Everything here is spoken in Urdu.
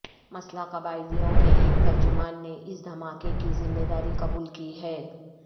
مسلح قبائلیوں کے ایک ترجمان نے اس دھماکے کی ذمہ داری قبول کی ہے